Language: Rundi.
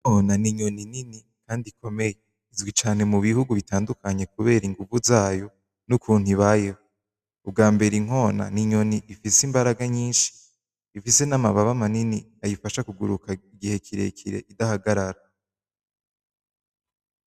Igikona ninyoni nini kandi ikomeye. Izwi cane mubihugu bitandukanye kubera ingumvu zayo nukuntu ibayeho. Ubwa mbere inkona ninyoni ifise imbaraga nyinshi, ifise namababa manini ayifasha kuguruka igihe kirekire idahagarara.